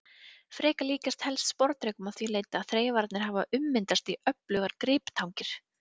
Drekar líkjast helst sporðdrekum að því leyti að þreifararnir hafa ummyndast í öflugar griptangir.